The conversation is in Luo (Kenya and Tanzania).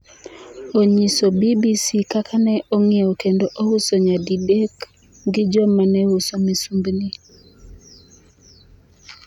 Onyiso BBC kaka ne ong’iewe kendo ouse nyadidek gi jo ma ne uso misumbni .